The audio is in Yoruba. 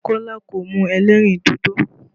Kọ́lá kò mu ẹlẹ́rìn dodo